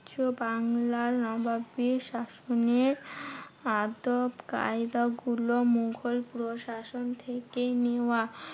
বাংলার নবাবী শাসনের আদপ কায়দা গুলো মুঘল পুরো শাসন থেকেই নেওয়া।